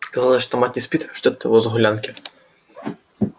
казалось что мать не спит ждёт его с гулянки